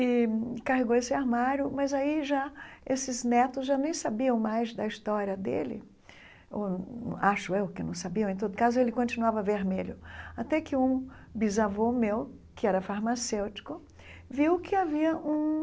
e carregou esse armário, mas aí já esses netos já nem sabiam mais da história dele, ou acho eu que não sabiam, em todo caso, ele continuava vermelho, até que um bisavô meu, que era farmacêutico, viu que havia um